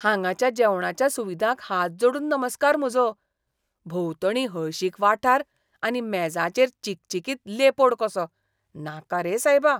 हांगाच्या जेवणाच्या सुविधांक हात जोडून नमस्कार म्हजो, भोंवतणीं हळशीक वाठार आनी मेजांचेर चिकचिकीत लेपोड कसो. नाका रे सायबा!